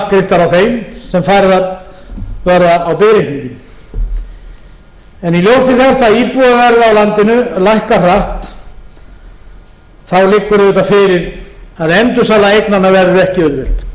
af þeim sem færðar verða á biðreikninginn í ljósi þess að íbúðaverð á landinu lækkar hratt liggur auðvitað fyrir að endursala eignanna verði ekki auðveld og hún verður þung